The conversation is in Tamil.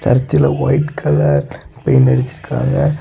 சர்ச்ல ஒயிட் கலர் பெயிண்ட் வெச்சிருக்காங்க.